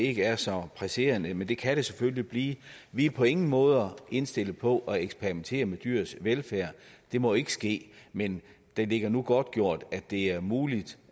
ikke er så presserende men det kan det selvfølgelig blive vi er på ingen måder indstillet på at eksperimentere med dyrs velfærd det må ikke ske men det ligger nu godtgjort at det er muligt